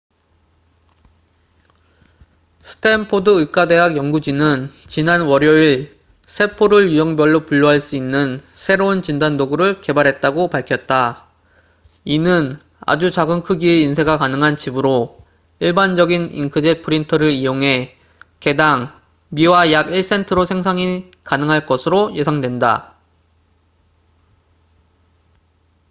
스탠포드 의과대학 연구진은 지난 월요일 세포를 유형별로 분류할 수 있는 새로운 진단도구를 개발했다고 밝혔다 이는 아주 작은 크기의 인쇄가 가능한 칩으로 일반적인 잉크젯 프린터를 이용해 개 당 미화 약 1센트로 생산이 가능할 것으로 예상된다